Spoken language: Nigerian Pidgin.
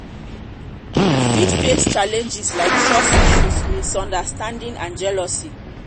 you fit face challenges like trust issues misunderstanding and jealousy.